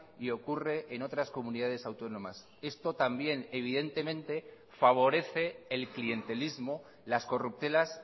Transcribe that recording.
y ocurre en otras comunidades autónomas esto también evidentemente favorece el clientelismo las corruptelas